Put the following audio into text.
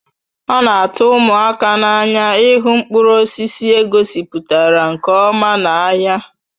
O na atu umụaka n'anya ịhụ mkpụrụ osisi egosipụtara nke ọma n'ahịa